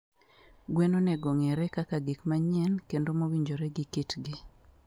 gwen onego ong'ere kaka gik manyien kendo mowinjore gi kitgi.